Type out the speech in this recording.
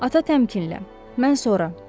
Ata təmkinlə, mən sonra.